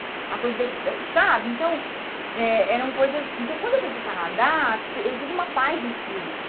Sabe então é eram coisas Então, quando eu fui para o Canadá, eu tive uma paz de espírito.